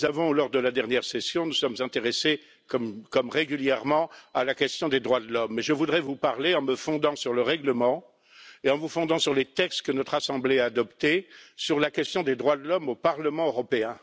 Lors de la dernière session, nous nous sommes intéressés, comme régulièrement, à la question des droits de l'homme, et je voudrais vous parler, en me fondant sur le règlement et en me fondant sur les textes que notre Assemblée a adoptés, de la question des droits de l'homme au Parlement européen.